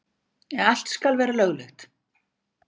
Allt skal vera löglegt.